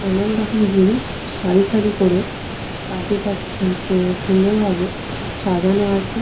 নানান রকম জিনিস সারি সারি করে তাকে তাকে স সু সুন্দরভাবে সাজানো আছে।